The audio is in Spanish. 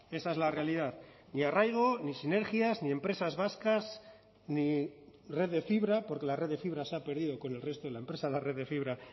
esa es la realidad ni arraigo ni sinergias ni empresas vascas ni red de fibra porque la red de fibra se ha perdido con el resto de la empresa la red de fibra